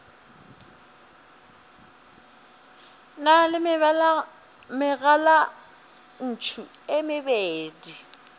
na le megalantšu e mebedi